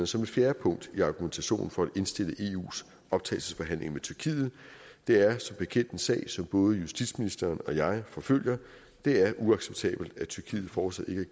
som et fjerde punkt i argumentationen for at indstille eus optagelsesforhandlinger med tyrkiet det er som bekendt en sag som både justitsministeren og jeg forfølger det er uacceptabelt at tyrkiet fortsat ikke